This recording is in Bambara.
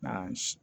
Nka